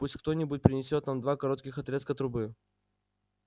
пусть кто-нибудь принесёт нам два коротких отрезка трубы